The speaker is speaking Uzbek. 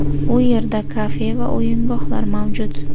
U yerda kafe va o‘yingohlar mavjud.